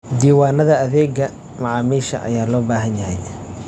Diiwaanada adeegga macaamiisha ayaa loo baahan yahay.